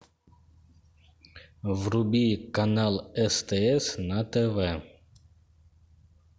вруби канал стс на тв